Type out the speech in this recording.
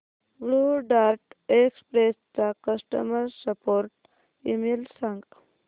blue Dart Express चा customer support email सांग